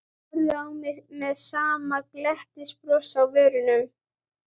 Horfði á mig með sama glettnisbrosið á vörunum.